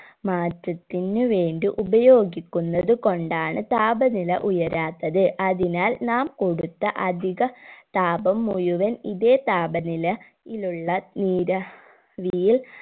മാറ്റത്തിന് വേണ്ടി ഉപയോഗിക്കുന്നത് കൊണ്ടാണ് താപനില ഉയരാത്തത് അതിനാൽ നാം കൊടുത്ത അധിക താപം മുഴുവൻ ഇതേ താപനില യിലുള്ള നീരാ വിയിൽ